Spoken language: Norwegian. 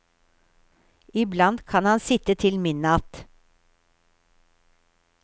Iblant kan han sitte til midnatt.